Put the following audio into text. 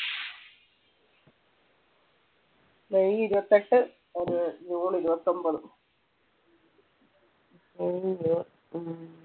May ഇരുപത്തിയെട്ട് ഒന്ന് June ഇരുപത്തൊമ്പത്.